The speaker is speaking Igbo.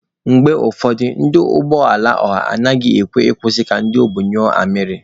Mgbe ụfọdụ, ndị ụgbọ ala ọha anaghị ekwe akwụsị ka ndị obu nyụọ amarị.